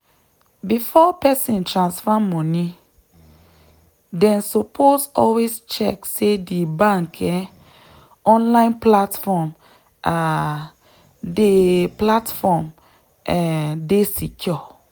before person transfer money dem suppose always check say di bank um online platform um dey platform um dey secure.